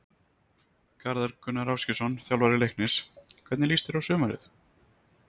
Garðar Gunnar Ásgeirsson, þjálfari Leiknis Hvernig líst þér á sumarið?